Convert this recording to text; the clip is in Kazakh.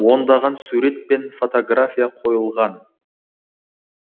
ондаған сурет пен фотография қойылған